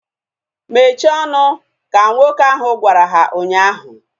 Mechie ọnụ! Ka nwoke ahu gwara ha ụnyaahụ